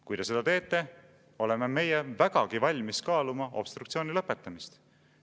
Kui te seda teete, oleme meie vägagi valmis kaaluma obstruktsiooni lõpetamist.